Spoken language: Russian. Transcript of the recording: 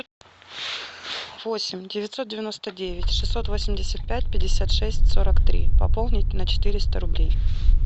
восемь девятьсот девяносто девять шестьсот восемьдесят пять пятьдесят шесть сорок три пополнить на четыреста рублей